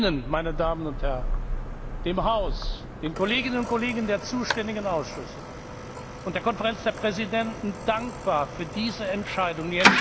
Ich bin Ihnen, meine Damen und Herren, dem Haus, den Kolleginnen und Kollegen der zuständigen Ausschüsse und der Konferenz der Präsidenten dankbar für diese Entscheidung.